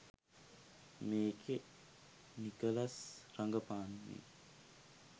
මේකේ නිකොලස් රඟපානේ